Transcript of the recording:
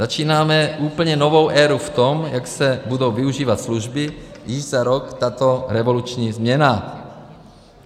Začínáme úplně novou éru v tom, jak se budou využívat služby, již za rok tato revoluční změna.